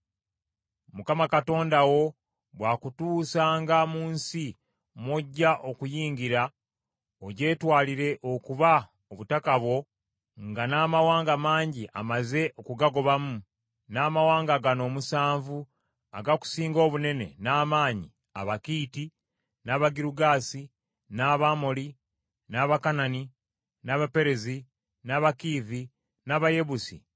Mukama Katonda wo bw’akutuusanga mu nsi mw’ojja okuyingira, ogyetwalire okuba obutaka bwo, nga n’amawanga mangi amaze okugagobamu, n’amawanga gano omusanvu agakusinga obunene n’amaanyi: Abakiiti, n’Abagirugaasi, n’Abamoli, n’Abakanani, n’Abaperezi, n’Abakiivi, n’Abayebusi,